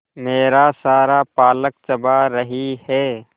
मेरा सारा पालक चबा रही है